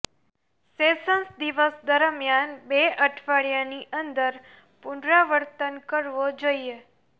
sessions દિવસ દરમિયાન બે અઠવાડિયાની અંદર પુનરાવર્તન કરવો જોઇએ